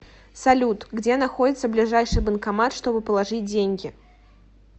салют где находится ближайший банкомат чтобы положить деньги